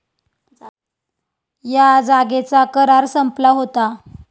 या जागेचा करार संपला होता.